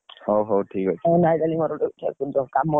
ହଉ ହଉ ଠିକ୍ ଅଛି ।